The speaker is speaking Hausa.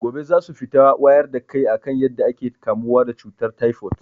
Gobe zasu fita wayar da kai akan yadda ake kamuwa da cutar taifot